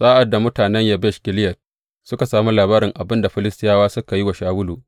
Sa’ad da mutanen Yabesh Gileyad suka sami labarin abin da Filistiyawa suka yi wa Shawulu.